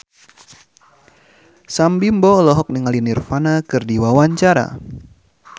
Sam Bimbo olohok ningali Nirvana keur diwawancara